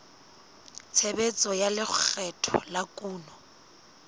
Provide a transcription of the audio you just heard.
tshebetso tsa lekgetho la kuno